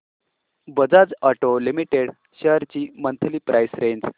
Bajaj auto limited shares ची monthly price range